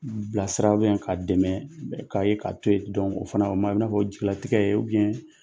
Bilasira k'a dɛmɛ k'a ye k'a to yen o fana o man ɲi o b'i n'a fɔ jigilatigɛ ye